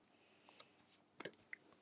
Og Beggi brosir, en svarar henni engu.